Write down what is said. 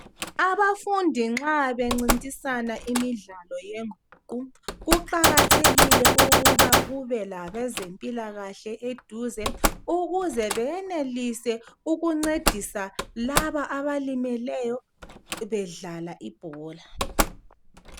Abafundi nxa bencintisana imidlalo yenguqu kuqakathekile ukuba kube labezempilakahle eduze ukuze beyenelise ukuncedisa laba abalimeleyo bedlala ibhola.